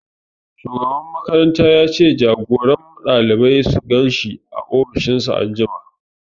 Shugaban makaranta ya ce jagoran ɗalibai su gan shi a ofishin shi anjima